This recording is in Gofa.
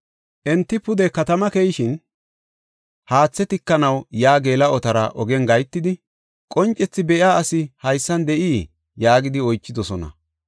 Enti pude katamaa keyishin, haathe tikanaw yaa geela7otara ogen gahetidi, “Qoncethi be7iya asi haysan de7ii?” yaagidi oychidosona.